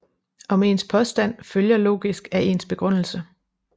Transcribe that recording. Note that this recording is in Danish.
Om ens påstand følger logisk af ens begrundelse